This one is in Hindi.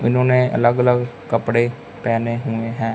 उन्होंने अलग अलग कपड़े पेहने हुए हैं।